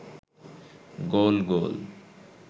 গোল গোল